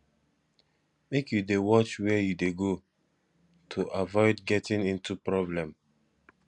make you dey watch wehre you dey go to avoid getting into problem